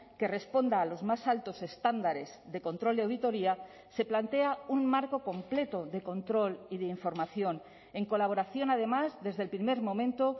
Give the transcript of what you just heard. que responda a los más altos estándares de control y auditoría se plantea un marco completo de control y de información en colaboración además desde el primer momento